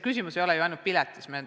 Küsimus ei ole ju ainult piletis.